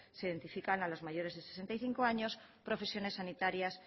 se identifican a los mayores de sesenta y cinco años profesiones sanitarias